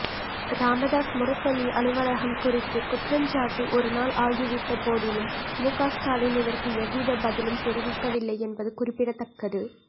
ராமதாஸ் முரசொலி அலுவலகம் குறித்து குற்றஞ்சாட்டி ஒருநாள் ஆகிவிட்டபோதிலும் முக ஸ்டாலின் இதற்கு எவ்வித பதிலும் தெரிவிக்கவில்லை என்பது குறிப்பிடத்தக்கது